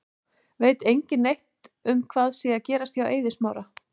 Veit engin neitt um hvað sé að gerast hjá Eiði Smára?